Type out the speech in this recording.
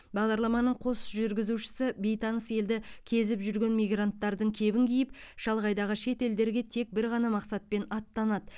бағдарламаның қос жүргізушісі бейтаныс елді кезіп жүрген мигранттардың кебін киіп шалғайдағы шет елдерге тек бір ғана мақсатпен аттанады